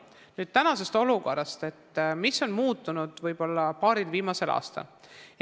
Nüüd tänasest olukorrast, sellest, mis on paaril viimasel aastal muutunud.